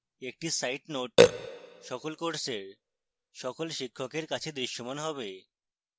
একটি site note সকল courses সকল শিক্ষকের কাছে দৃশ্যমান হবে